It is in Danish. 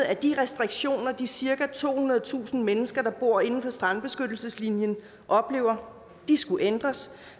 at de restriktioner de cirka tohundredetusind mennesker der bor inden for strandbeskyttelseslinjen oplever skulle ændres